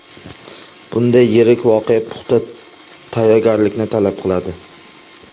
Bunday yirik voqea puxta tayyorgarlikni talab qiladi.